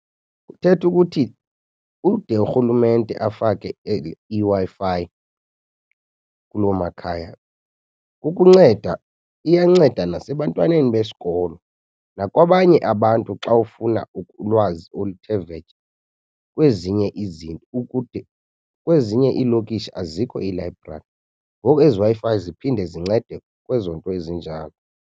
Kuthetha ukuthi ude urhulumente afake iWi-Fi kuloo makhaya ukunceda, iyanceda nasebantwaneni besikolo nakwabanye abantu xa ufuna ulwazi oluthe vetshe kwezinye izinto. Kwezinye iilokishi azikho iilayibrari ngoku, ezi Wi-Fi ziphinde zincede kwezo nto ezinjalo.